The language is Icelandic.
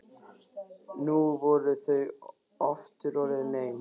Nú voru þau aftur orðin ein.